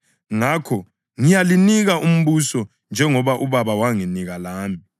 Ngakho ngiyalinika umbuso njengoba uBaba wanginika lami,